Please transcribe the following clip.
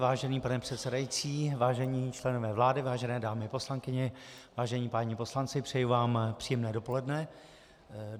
Vážený pane předsedající, vážení členové vlády, vážené dámy poslankyně, vážení páni poslanci, přeji vám příjemné dopoledne.